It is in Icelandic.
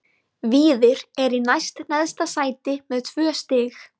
Víðir er í næst neðsta sæti með tvö stig.